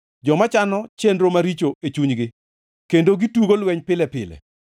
joma chano chenro maricho e chunygi kendo gitugo lweny pile pile.